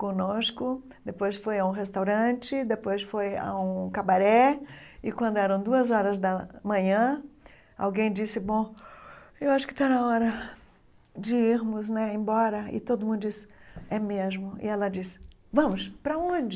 conosco, depois foi a um restaurante, depois foi a um cabaré, e quando eram duas horas da manhã, alguém disse, bom, eu acho que está na hora de irmos, né, embora, e todo mundo disse, é mesmo, e ela disse, vamos, para onde?